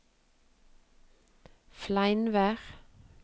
Fleinvær